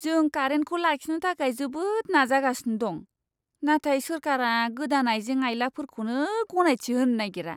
जों कारेन्टखौ लाखिनो थाखाय जोबोद नाजागसिनो दं, नाथाय सोरखारा गोदान आइजें आइलाफोरखौनो गनायथि होनो नागिरा!